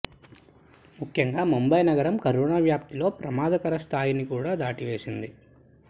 ముఖ్యంగా ముంబై నగరం కరోనా వ్యాప్తిలో ప్రమాదకర స్థాయిని కూడా దాటివేసింది